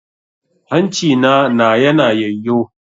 Hancina na yana yayyo.